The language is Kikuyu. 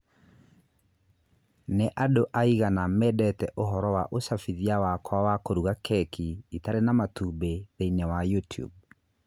Nĩ andũ aigana mendete ũhoro wa úcabithia wakwa wa kũruga keki itarĩ na matumbĩ thĩinĩ wa YouTube?